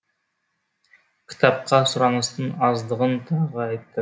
кітапқа сұраныстың аздығын тағы айтты